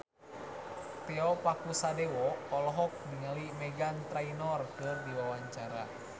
Tio Pakusadewo olohok ningali Meghan Trainor keur diwawancara